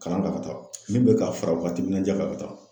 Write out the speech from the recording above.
Kalan ta ka taa min be ka fara o wagata nin ja ka be taa